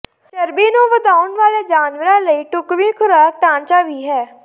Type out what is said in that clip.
ਚਰਬੀ ਨੂੰ ਵਧਾਉਣ ਵਾਲੇ ਜਾਨਵਰਾਂ ਲਈ ਢੁਕਵੀਂ ਖੁਰਾਕ ਢਾਂਚਾ ਵੀ ਹੈ